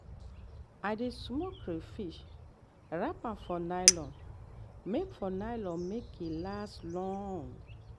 i dey smoke catfish wrap am for nylon make for nylon make e last long.